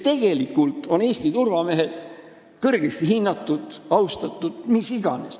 Tegelikult on Eesti turvamehed kõrgesti hinnatud ja austatud, mis iganes.